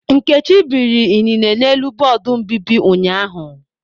Nkechi biri inine n'elu bọọdụ mbíbì ụnyaahụ.